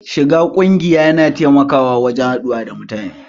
Shiga ƙungiya ya na taimakawa wurin haɗuwa da mutane